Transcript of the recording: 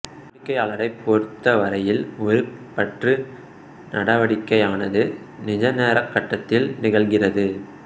வாடிக்கையாளரைப் பொறுத்த வரையில் ஒரு பற்று நடவடிக்கையானது நிஜ நேரக் கட்டத்தில் நிகழ்கிறது